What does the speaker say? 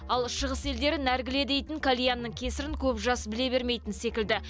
ал шығыс елдері нәргіле дейтін кальянның кесірін көп жас біле бермейтін секілді